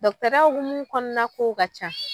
hokumu kɔnɔna k'ow ka ca